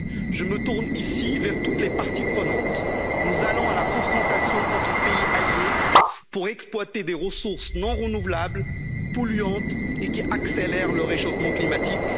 Je me tourne ici vers toutes les parties prenantes nous allons à la confrontation entre pays alliés pour exploiter des ressources non renouvelables, polluantes et qui accélèrent le réchauffement climatique.